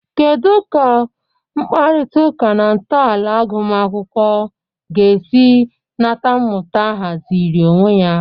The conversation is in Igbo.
Kedu ka mkparịta ụka na ntọala agụmakwụkwọ ga-esi nata mmụta ahaziri onwe ya?